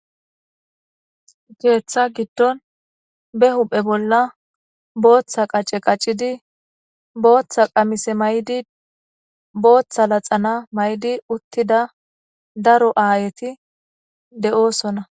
Keeththa giddon be huphe bolla booththa qace qaccidi booththa qamise may7di booththa laxana maydi uttida daro aayeti de7oosona